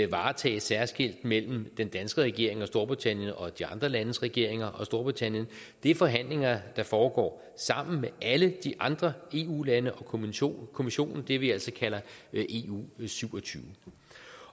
varetages særskilt mellem den danske regering og storbritannien og de andre landes regeringer og storbritannien det er forhandlinger der foregår sammen med alle de andre eu lande og kommissionen kommissionen det vi altså kalder eu syv og tyve